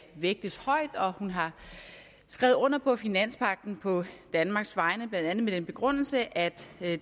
vægtes højt og at hun har skrevet under på finanspagten på danmarks vegne blandt andet med den begrundelse at